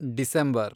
December